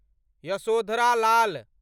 Yashodhara Lal